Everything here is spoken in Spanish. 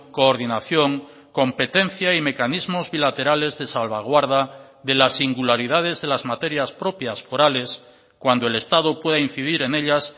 coordinación competencia y mecanismos bilaterales de salvaguarda de las singularidades de las materias propias forales cuando el estado pueda incidir en ellas